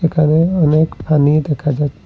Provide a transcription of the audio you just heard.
এখানে অনেক পানি দেখা যাচ--